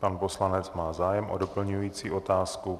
Pan poslanec má zájem o doplňující otázku.